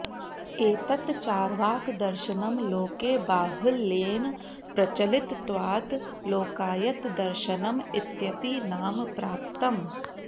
एतत् चार्वाकदर्शनं लोके बाहुल्येन प्रचलितत्वात् लोकायतदर्शनम् इत्यपि नाम प्राप्तम्